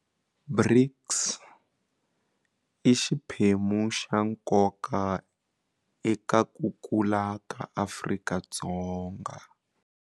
BRICS i xiphemu xa nkoka eka ku kula ka Afrika-Dzonga.